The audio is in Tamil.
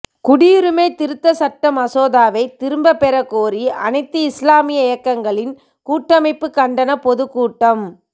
குடியுரிமை திருத்த சட்ட மசோதாவை திரும்ப பெறக்கோரி அனைத்து இஸ்லாமிய இயக்கங்களின் கூட்டமைப்பு கண்டன பொதுக்கூட்டம்